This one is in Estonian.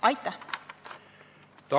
Aitäh!